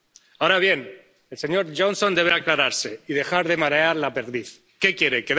Ahora bien, el señor Johnson debe aclararse y dejar de marear la perdiz. ¿Qué quiere?